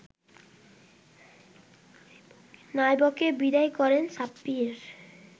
নাইবকে বিদায় করেন সাব্বির